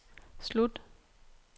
slut